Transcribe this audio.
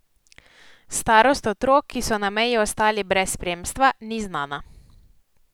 Starost otrok, ki so na meji ostali brez spremstva, ni znana.